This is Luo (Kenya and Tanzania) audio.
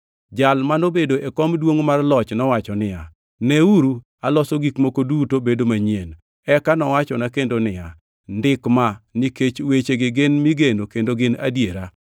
Jal manobedo e kom duongʼ mar loch nowacho niya, “Neuru! Aloso gik moko duto bedo manyien!” Eka nowachona kendo niya, “Ndik ma, nikech wechegi gin migeno kendo gin adiera.”